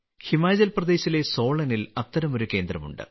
ഹിമാചൽ പ്രദേശിലെ സോളനിൽ അത്തരമൊരു കേന്ദ്രമുണ്ട്